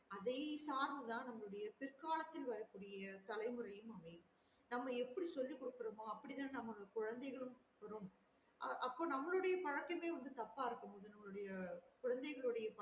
அதை சார்ந்து தான் நம்மளுடைய பிற்காலத்துல வர கூடிய தலைமுறை அமையும் அவை நம்ம எப்டி சொல்லி குடுக்குறோம்லஅப்டி தான் நமக்கு குழந்தைகளுக்கும் அப்ப நம்மளுடைய பழக்கமே தப்ப இருக்கும் போது நம்மலுடைய குழந்தைகளோட